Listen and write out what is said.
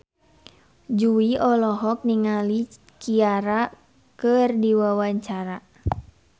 Jui olohok ningali Ciara keur diwawancara